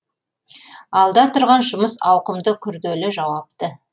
алда тұрған жұмыс ауқымды күрделі жауапты